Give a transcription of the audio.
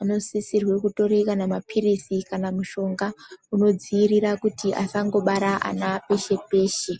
anosisirwa kutora kana mapirisi kana mushonga unodziirira kuti asangobare ana peshe peshe.